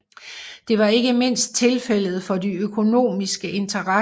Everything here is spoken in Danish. Det var ikke mindst tilfældet for de økonomiske interesser